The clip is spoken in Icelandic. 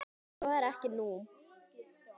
Svo er ekki nú.